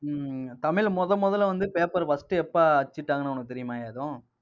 ஹம் ஹம் தமிழ்ல முதல் முதல்ல வந்து, paper first எப்ப அச்சிட்டாங்கன்னு உனக்கு தெரியுமாயா ஏதும்?